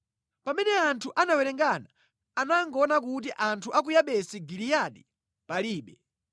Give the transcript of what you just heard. Pamene anthu anawerengana anangoona kuti anthu a ku Yabesi Giliyadi palibe.